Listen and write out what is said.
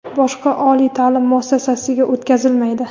boshqa oliy taʼlim muassasasiga o‘tkazilmaydi;.